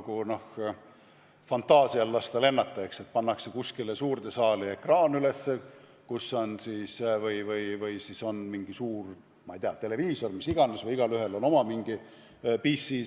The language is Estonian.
Kui fantaasial lennata lasta, võib ette kujutada, et pannakse kuskile suurde saali ekraan üles või on siis mingi suur televiisor või mis iganes või igaühel on oma mingi PC